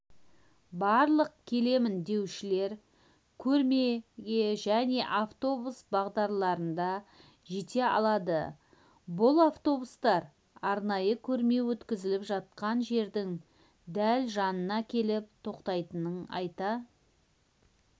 барлық келемін деушілер көрмеге және автобус бағдарларында жете алады бұл автобустар арнайы көрме өткізіліп жатқан жердің дәл жанына келіп тоқтайтынын айта